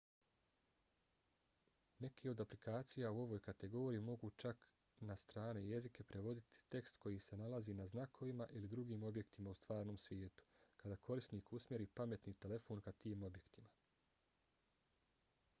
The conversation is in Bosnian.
neke od aplikacija u ovoj kategoriji mogu čak na strane jezike prevoditi tekst koji se nalazi na znakovima ili drugim objektima u stvarnom svijetu kada korisnik usmjeri pametni telefon ka tim objektima